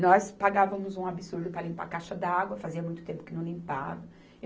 Nós pagávamos um absurdo para limpar a caixa d'água, fazia muito tempo que não limpava.